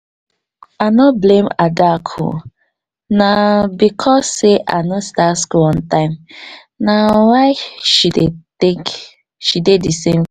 i no blame adaku na becos sey i no start skul on time na why she dey take she dey di same